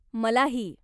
मलाही.